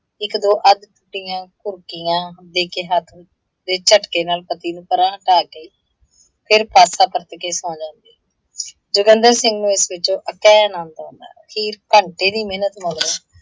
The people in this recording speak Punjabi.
ਇੱਕ ਦੋ ਅੱਧ ਸੁੱਤੀਆਂ ਘੂਕੀਆਂ ਦੇ ਕੇ ਹੱਥ ਦੇ ਝੱਟਕੇ ਨਾਲ ਪਤੀ ਨੂੰ ਪਰ੍ਹਾਂ ਕਰਕੇ, ਫਿਰ ਪਾਸਾ ਪਰਤ ਕੇ ਸੌਂ ਜਾਂਦੀ। ਜੋਗਿੰਦਰ ਸਿੰਘ ਨੂੰ ਇਸ ਵਿੱਚੋਂ ਅਤਿਹ ਅਨੰਦ ਆਉੰਦਾ। ਅਖੀਰ ਘੰਟੇ ਦੀ ਮਿਹਨਤ ਮਗਰੋਂ